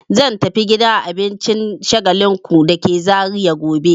Zan tafi gidan abincin Shagalinku da ke Zariya gobe.